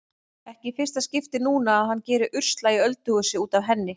Ekki í fyrsta skipti núna að hann gerir usla á öldurhúsi út af henni.